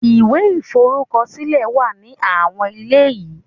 Ìwé iforukosile wa ní àwọn ilé yìí.